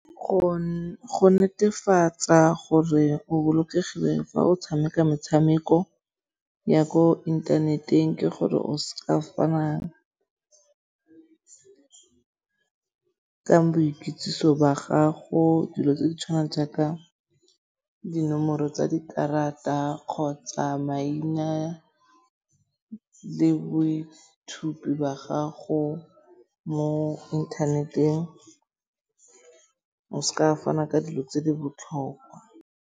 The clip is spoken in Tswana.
Go netefatsa gore o bolokegile fa o tshameka metshameko ya ko inthaneteng ke gore o s'ka fana ka boikitsiso ba gago. Dilo tse di tshwanang jaaka dinomoro tsa dikarata kgotsa maina le boithupi ba gago mo inthaneteng. O s'ka fana ka dilo tse di botlhokwa.